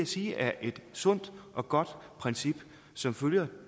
sige er et sundt og godt princip som følger